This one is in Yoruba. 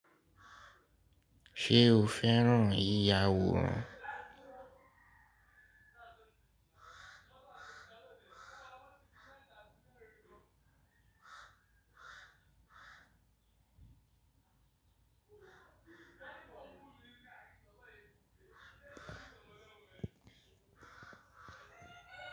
Ṣe o fẹ ran yi ya aworan.